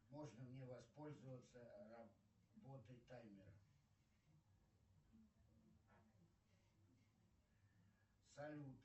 можно мне воспользоваться работой таймера салют